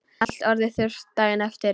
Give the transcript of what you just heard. Allt orðið þurrt daginn eftir.